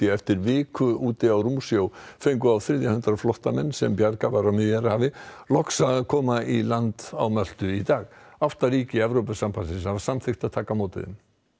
eftir viku úti á rúmsjó fengu á þriðja hundrað flóttamenn sem bjargað var á Miðjarðarhafi loks að koma í land á Möltu í dag átta ríki Evrópusambandsins hafa samþykkt að taka á móti þeim